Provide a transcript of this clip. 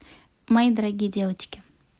мои дорогие девочки